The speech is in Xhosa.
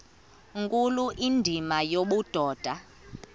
nkulu indima yobudoda